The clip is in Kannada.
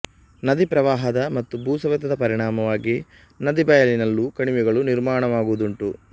ನದೀ ಪ್ರವಾಹದ ಮತ್ತು ಭೂಸವೆತದ ಪರಿಣಾಮವಾಗಿ ನದೀಬಯಲಿನಲ್ಲೂ ಕಣಿವೆಗಳು ನಿರ್ಮಾಣವಾಗುವುದುಂಟು